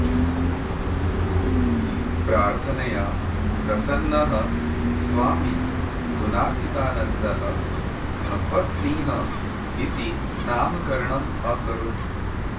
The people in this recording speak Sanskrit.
प्रार्थनया प्रसन्नः स्वामी गुणातीतानन्दः भगवतसिंहः इति नामकरणम् अकरोत्